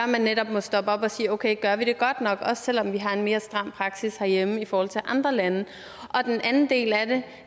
netop må stoppe op og sige okay gør vi det godt nok også selv om vi har en mere stram praksis herhjemme i forhold til andre lande den anden del af det